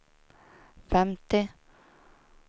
femtio